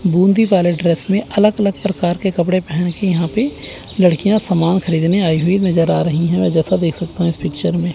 बूंदी वाले ड्रेस में अलग अलग प्रकार के कपड़े पहन के यहां पे लड़कियां सामान खरीदने आई हुई नजर आ रही हैं मैं जैसा देख सकता हूं इस पिक्चर में।